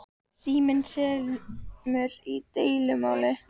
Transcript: Síminn semur í deilumáli